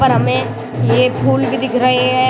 और हमे ये फूल भी दिख रहे हैं।